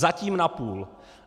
Zatím napůl.